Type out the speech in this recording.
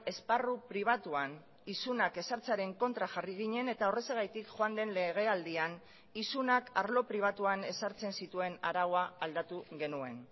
esparru pribatuan isunak ezartzearen kontra jarri ginen eta horrexegatik joan den legealdian isunak arlo pribatuan ezartzen zituen araua aldatu genuen